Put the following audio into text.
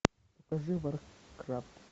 покажи варкрафт